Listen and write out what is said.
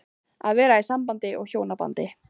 Að vera í sambúð og hjónabandi